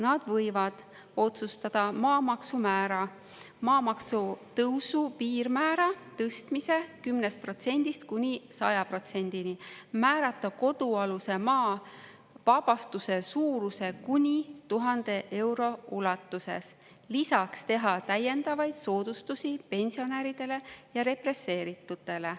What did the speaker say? Nad võivad otsustada maamaksumäära, maamaksu tõusu piirmäära tõstmise 10%‑st kuni 100%-ni, määrata kodualuse maa vabastuse suuruse kuni 1000 euro ulatuses, lisaks teha täiendavaid soodustusi pensionäridele ja represseeritutele.